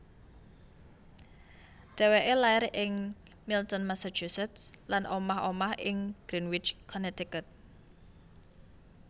Dheweke lair ing Milton Massachusetts lan omah omah ing Greenwich Connecticut